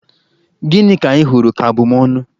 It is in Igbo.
Gịnị ka ịhụrụ ka abụmónù?